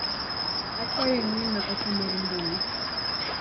Akwayo ing'ina ote mar mbui.